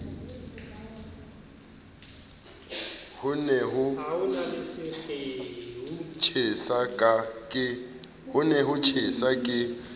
ho ne ho tjhesa ke